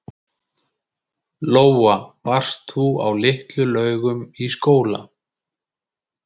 Lóa: Varst þú á Litlu-Laugum í skóla?